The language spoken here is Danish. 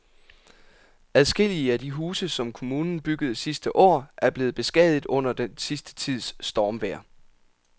Adskillige af de huse, som kommunen byggede sidste år, er blevet beskadiget under den sidste tids stormvejr.